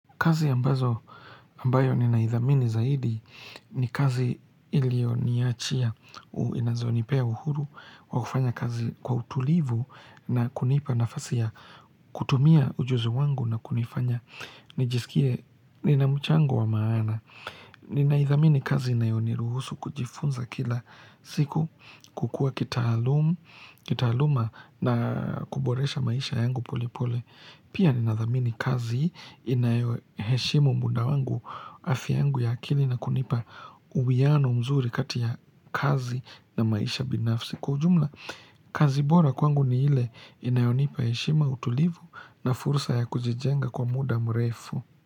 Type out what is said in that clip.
Kazi ambazo ambayo ninaidhamini zaidi ni kazi iliyoniachia inazonipea uhuru wa kufanya kazi kwa utulivu na kunipa nafasia ya kutumia ujuzi wangu na kunifanya nijisikie ninamchango wa maana Ninaidhamini kazi inayoniruhusu kujifunza kila siku kukua kitaaluma na kuboresha maisha yangu polepole Pia ninadhamini kazi inayo heshimu muda wangu afya yangu ya akili na kunipa uwiano mzuri kati ya kazi na maisha binafsi. Kwa ujumla, kazi bora kwangu ni ile inayonipa heshima utulivu na fursa ya kujijenga kwa muda mrefu.